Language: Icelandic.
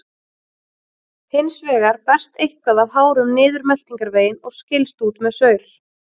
Hins vegar berst eitthvað af hárum niður meltingarveginn og skilst út með saur.